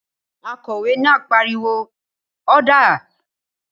Akòwé náà pariwo "ọ́dà!"